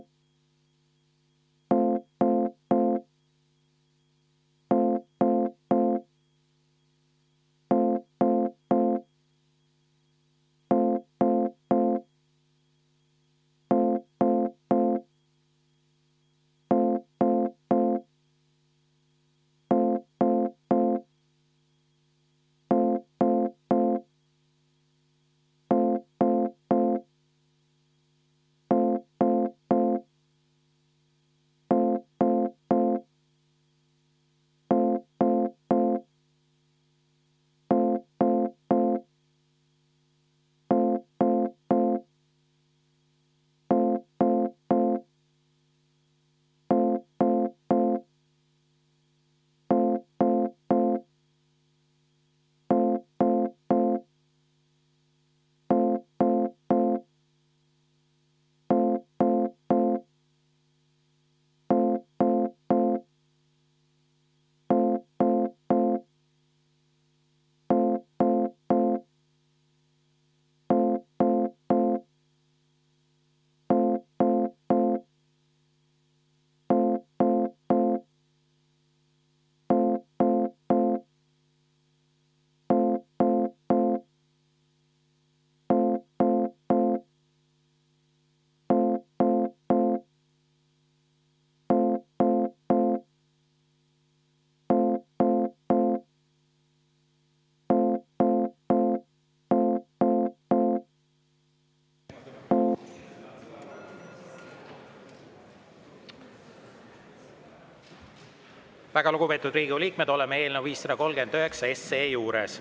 Väga lugupeetud Riigikogu liikmed, oleme eelnõu 539 juures.